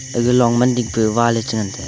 aga long man ding pe wall a che ngan tega.